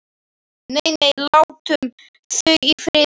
Nei, nei, látum þau í friði.